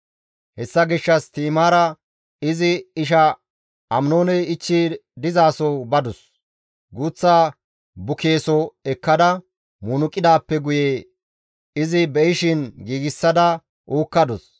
Hessa gishshas Ti7imaara izi isha Aminooney ichchi dizaso badus; guuththa bukeeso ekkada munuqidaappe guye izi be7ishin giigsada uukkadus.